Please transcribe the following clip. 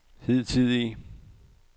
hidtidige